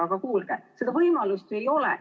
Aga kuulge, seda võimalust ju ei ole.